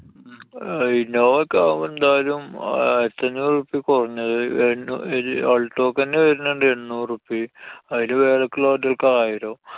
innova ഒക്കെ ആവുമ്പൊ എന്തായാലും ആയിരത്തി അഞ്ഞൂറു ഉറുപ്പിയ കൊറഞ്ഞത്‌ റെ~ alto ക്കന്നെ വരുന്നുണ്ട് എന്നൂറു ഉറുപ്പിയ, അയിനു മേലേക്കുള്ള വണ്ടികള്‍ക്ക് ആയിരം.